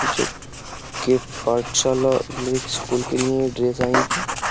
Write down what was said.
जो के पाठशाला एक स्कूल के लिए ड्रेस आई है।